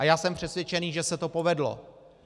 A já jsem přesvědčený, že se to povedlo.